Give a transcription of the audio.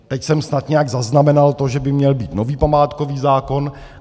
Teď jsem snad nějak zaznamenal to, že by měl být nový památkový zákon.